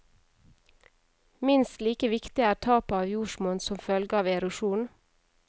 Minst like viktig er tapet av jordsmonn som følge av erosjon.